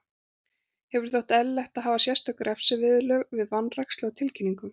Hefur þótt eðlilegt að hafa sérstök refsiviðurlög við vanrækslu á tilkynningum.